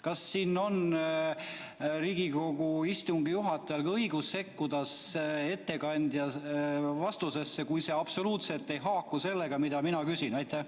Kas Riigikogu istungi juhatajal on õigus sekkuda ettekandja vastusesse, kui see absoluutselt ei haaku sellega, mida mina küsin?